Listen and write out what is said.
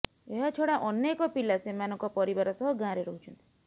ଏହାଛଡ଼ା ଅନେକ ପିଲା ସେମାନଙ୍କ ପରିବାର ସହ ଗାଁରେ ରହୁଛନ୍ତି